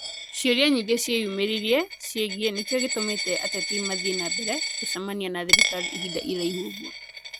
Ciũria nyingĩ ciĩyumĩririe ciĩgiĩ nĩkĩo gĩtũmĩte ateti mathiĩ na mbere gũcemania na thirikari ihinda iraihu ũguo.